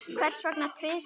Hvers vegna tvisvar?